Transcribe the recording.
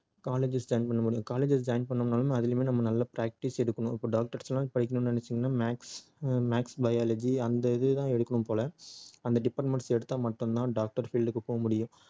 colleges join பண்ண முடியும் colleges join பண்ணனும்னாலும் அதுலயுமே நம்ம நல்ல practice எடுக்கணும் இப்போ doctors லாம் படிக்கணும்னு நினைச்சீங்கன்னா maths ஹம் maths biology அந்த இது தான் எடுக்கணும் போல அந்த departments எடுத்தா மட்டும் தான் doctor field க்கு போக முடியும்